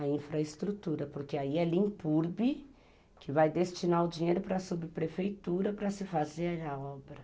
A infraestrutura, porque aí ela impurbe, que vai destinar o dinheiro para a subprefeitura para se fazer a obra.